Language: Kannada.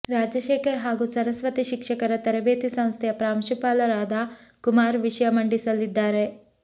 ರಾಜಶೇಖರ್ ಹಾಗೂ ಸರಸ್ವತಿ ಶಿಕ್ಷಕರ ತರಬೇತಿ ಸಂಸ್ಥೆಯ ಪ್ರಾಂಶುಪಾಲರಾದ ಕುಮಾರ್ ವಿಷಯ ಮಂಡಿಸಲಿದ್ದಾರೆ